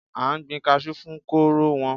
A n gbin kasú fún kóró wọn.